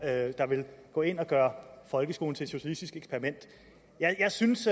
vil gå ind og gøre folkeskolen til et socialistisk eksperiment jeg synes